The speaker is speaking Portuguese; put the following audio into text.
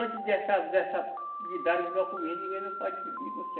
Antes dessa, dessa, de darem os documentos, ninguém não pode negociar.